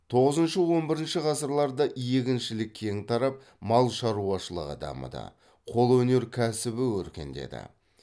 тоғызыншы он бірінші ғасырларда егіншілік кең тарап мал шаруашылығы дамыды қолөнер кәсібі өркендеді